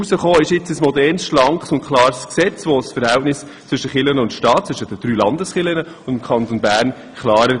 Herausgekommen ist ein modernes, schlankes und klares Gesetz, welches das Verhältnis zwischen den drei Landeskirchen und dem Kanton Bern regelt.